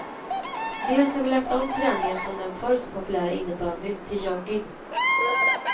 Dels har vi lagt om träningen från den förr så populära innebandyn till jogging.